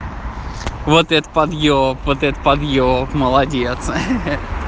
вот это подъеб вот это подъеб молодец